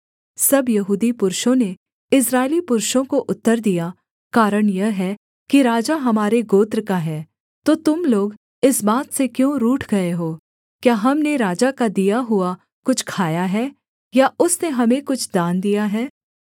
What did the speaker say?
सब यहूदी पुरुषों ने इस्राएली पुरुषों को उत्तर दिया कारण यह है कि राजा हमारे गोत्र का है तो तुम लोग इस बात से क्यों रूठ गए हो क्या हमने राजा का दिया हुआ कुछ खाया है या उसने हमें कुछ दान दिया है